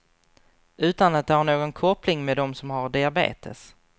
Utan att det har någon koppling med dem som har diabetes.